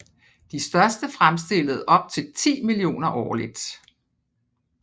De største fremstillede op til 10 millioner årligt